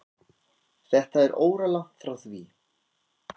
Þetta er óralangt frá því.